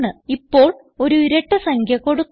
ഇപ്പോൾ ഒരു ഇരട്ട സംഖ്യ കൊടുക്കാം